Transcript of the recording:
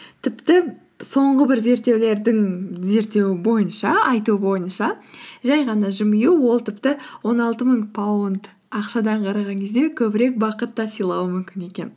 тіпті соңғы бір зерттеулердің айтуы бойынша жай ғана жымию ол тіпті он алты мың паунд ақшадан қараған кезде көбірек бақыт та сыйлауы мүмкін екен